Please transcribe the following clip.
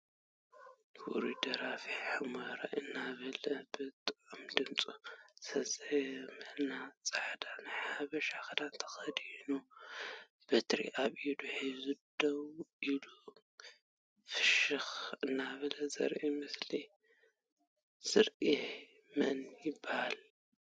ውሩይ ደራፊ ሑመራይ እናበለ ብጥዑም ድምፁ ዘዘየመልና ፃዕዳ ናይ ሓበሻ ክዳን ተከዲኑ በትሪ ኣብ ኢዱ ሒዙ ደው ኢሉ ፍሽክ እናበለ ዘርኢ ምስሊ ዝኒሀ መን ይበሃል?